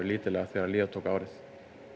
lítillega þegar líða tók á árið